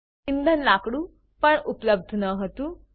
ઇંધણ લાકડું પણ ઉપલબ્ધ ન હતું